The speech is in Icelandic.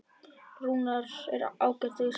Rúnar er ágætis náungi.